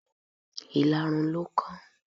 Ìlarun ló kán.